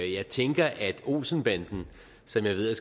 jeg tænker at olsen banden som jeg ved